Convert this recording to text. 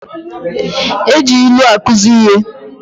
E ji ilu akuzi ihe.